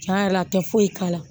Tiɲɛ yɛrɛ la a tɛ foyi k'a la